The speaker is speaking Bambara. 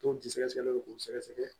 Tɔn jigi sɛgɛsɛgɛlen don k'o sɛgɛsɛgɛ